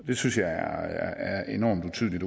det synes jeg er enormt utydeligt